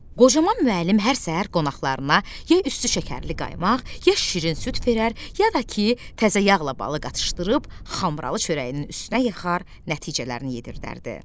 Qocaman müəllim hər səhər qonaqlarına ya üstü şəkərli qaymaq, ya şirin süd verər, ya da ki, təzə yağla balı qatışdırıb xambıralı çörəyinin üstünə yıxar, nəticələrini yedirdərdi.